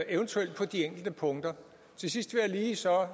eventuelt på de enkelte punkter til sidst vil jeg så